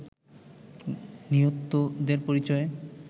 নিহতদের পরিচয়